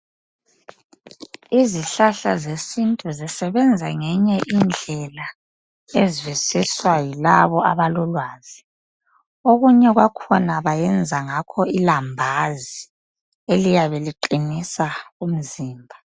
Izihlahla zesintu zisebenza ngenye indlela ezwisiswa yilabo abalolwazi okunye kwakhona bayenza ngakho ilambazi eliyabe liqinisa umzimba